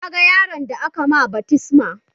Kaga yaron da aka ma baftisma?